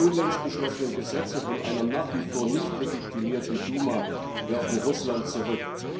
Die unlängst beschlossenen Gesetze von einer nach wie vor nicht legitimierten Duma werfen Russland zurück.